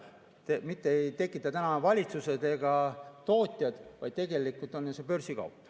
Seda hinda ei tekita täna valitsused ega tootjad, vaid tegelikult on see ju börsikaup.